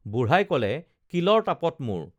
বুঢ়াই কলে কিলৰ তাপত মোৰ